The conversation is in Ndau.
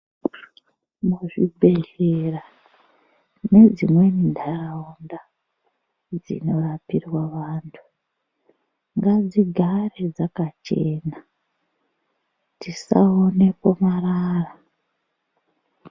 Muzvibhedhlera nedzimweni ntaraunda dzinorapirwa vantu ngadzigare dzakachena dzisaonekwe marara.